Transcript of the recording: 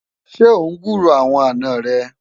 ṣé ọ n gburó àwọn àná rè?